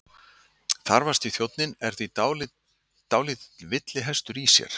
Þarfasti þjónninn er því dálítill villihestur í sér.